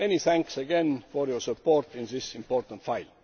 Many thanks again for your support on this important file.